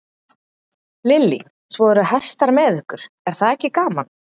Lillý: Svo eru hestar með ykkur, er það ekki gaman?